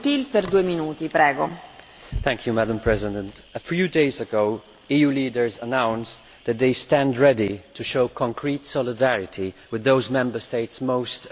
Madam President, a few days ago, EU leaders announced that they stand ready to show concrete solidarity with those Member States most affected by migratory pressures.